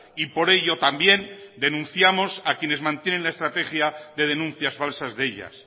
y por ello también denunciamos a quienes mantienen la estrategia de denuncias falsas de ellas